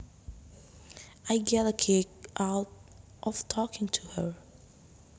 I get a kick out of talking to her